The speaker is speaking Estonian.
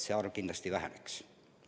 See arv peaks kindlasti vähenema.